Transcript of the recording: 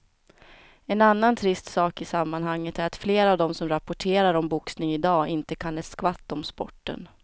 En annan trist sak i sammanhanget är att flera av de som rapporterar om boxning i dag inte kan ett skvatt om sporten.